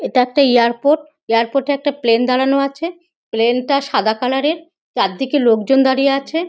এটা একটা airport. Airport -এ একটা প্লেন দাঁড়ানো আছে। প্লেন -টা সাদা কালার -এর। চারদিকে লোকজন দাড়িয়ে আছে।